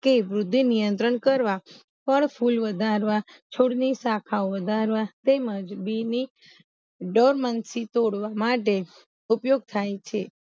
કે વૃદ્ધિ નિયંત્રણ કરવા પર ફૂલ વધારવા છોડની શાખાઓ વધારવા તેમજ બી ની દોર્મંસી તોડવા માટે ઉપયોગ થાય છે